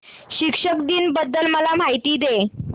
शिक्षक दिन बद्दल मला माहिती दे